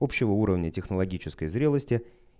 общего уровня технологической зрелости